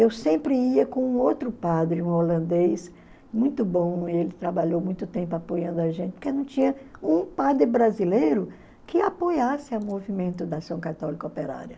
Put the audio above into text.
Eu sempre ia com outro padre, um holandês, muito bom, ele trabalhou muito tempo apoiando a gente, porque não tinha um padre brasileiro que apoiasse a movimento da ação católica operária.